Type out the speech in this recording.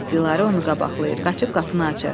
Dilarə onu qabaqlayır, qaçıb qapını açır.